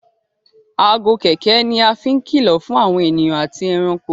Aago kẹ̀kẹ́ ní a fín kìlọ fún àwọn ènìyàn àti ẹranko.